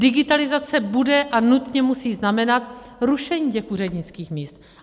Digitalizace bude a nutně musí znamenat rušení těch úřednických míst.